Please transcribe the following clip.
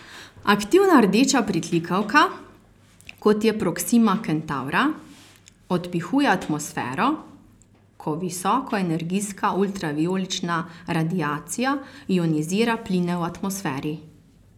Aktivna rdeča pritlikavka, kot je Proksima Kentavra, odpihuje atmosfero, ko visokoenergijska ultravijolična radiacija ionizira pline v atmosferi.